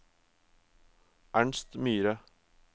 Ernst Myhre